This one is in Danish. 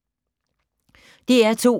DR2